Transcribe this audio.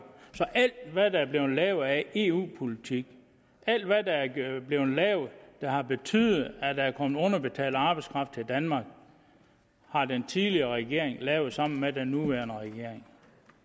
så alt hvad der er blevet lavet af eu politik alt hvad der er blevet lavet der har betydet at der er kommet underbetalt arbejdskraft til danmark har den tidligere regering lavet sammen med partierne i den nuværende regering